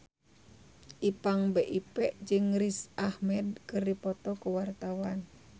Ipank BIP jeung Riz Ahmed keur dipoto ku wartawan